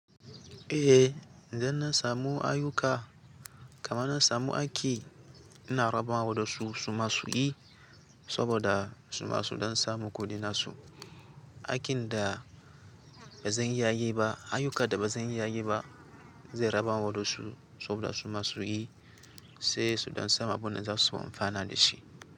Eh, idan na samu ayuka kamar na samu aiki, ina rabawa da su, su ma su yi saboda su ma su don samu kuɗin su. Aikin da ba zan iya yi ba, ayyukan da ba zan iya yi ba, zan raba wa waɗansu saboda su ma su yi, sai su don samu abin da za su amfana da shi.